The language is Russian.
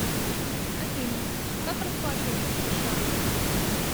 афина как расплачиваться в сша